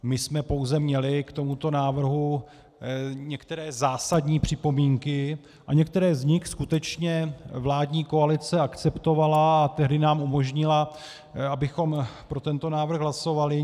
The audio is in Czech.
My jsme pouze měli k tomuto návrhu některé zásadní připomínky a některé z nich skutečně vládní koalice akceptovala a tehdy nám umožnila, abychom pro tento návrh hlasovali.